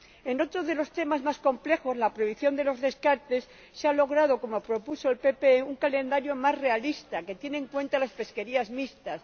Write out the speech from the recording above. En otro de los temas más complejos, la prohibición de los descartes, se ha logrado como propuso el PPE un calendario más realista que tiene en cuenta las pesquerías mixtas.